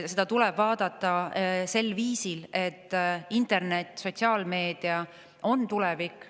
Seda tuleb vaadata sel viisil, et internet ja sotsiaalmeedia on tulevik.